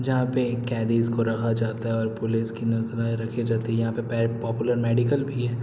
जहाँ पे कैदीस को रखा जाता है और पुलिस की नजरें रखी जाती है यहाँ पे पॉपुलर मेडिकल भी है।